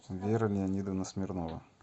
вера леонидовна смирнова